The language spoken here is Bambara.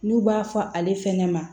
N'u b'a fɔ ale fɛnɛ ma